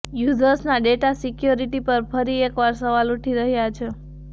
યૂઝર્સના data security પર ફરી એકવાર સવાલ ઉઠી રહ્યાં છે